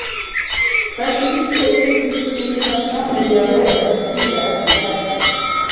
Hversu vítt og yfirgripsmikið þarf samhengið að vera til að skýra efni textans?